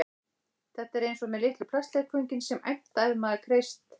Þetta er eins og með litlu plastleikföngin sem æmta ef maður kreist